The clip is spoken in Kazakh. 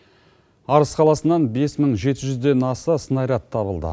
арыс қаласынан бес мың жеті жүзден аса снаряд табылды